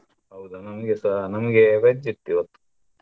ಹೌದಾ ನಮ್ಗೆಸ ನಮ್ಗೆ veg ಇವತ್ತು.